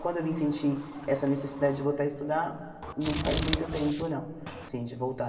Quando eu vim sentir essa necessidade de voltar a estudar, não faz muito tempo não, assim, de voltar.